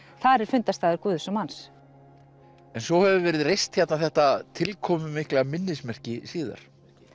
þar er fundarstaður Guðs og manns en svo hefur verið reist þetta tilkomumikla minnismerki síðar